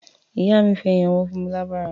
Ìyá mi fi ẹ̀yín ọwọ́ fún mi lábàrá.